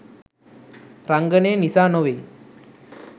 රංගනය නිසා නොවෙයි.